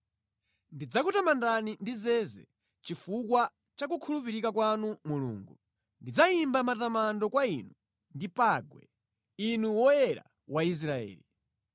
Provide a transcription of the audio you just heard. Ndidzakutamandani ndi zeze chifukwa cha kukhulupirika kwanu Mulungu, ndidzayimba matamando kwa Inu ndi pangwe, Inu Woyera wa Israeli.